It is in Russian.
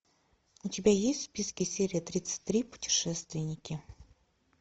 у тебя есть в списке серия тридцать три путешественники